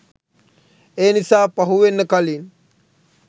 ඒ නිසා පහු වෙන්න කලින්